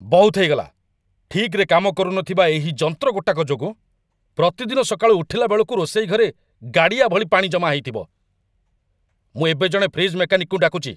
ବହୁତ ହେଇଗଲା, ଠିକ୍‌ରେ କାମ କରୁନଥିବା ଏହି ଯନ୍ତ୍ର ଗୋଟାକ ଯୋଗୁଁ, ପ୍ରତିଦିନ ସକାଳୁ ଉଠିଲା ବେଳକୁ ରୋଷେଇ ଘରେ ଗାଡ଼ିଆ ଭଳି ପାଣି ଜମା ହେଇଥିବ! ମୁଁ ଏବେ ଜଣେ ଫ୍ରିଜ୍‌ ମେକାନିକକୁ ଡାକୁଚି।